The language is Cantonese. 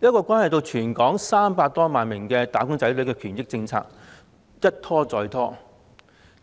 這項關係到全港300多萬名"打工仔女"的權益政策一拖再拖，